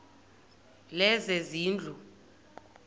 lezezindlu